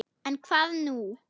En, hvað nú?